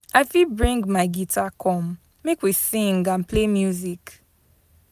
I fit bring my guitar come, make we sing and play music.